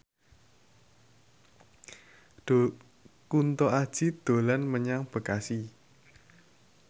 Kunto Aji dolan menyang Bekasi